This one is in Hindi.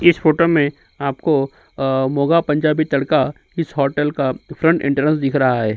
इस फोटो में आपको अ मोगा पंजाबी तड़का इस होटल का फ्रंट इन्टरंस दिख रहा है।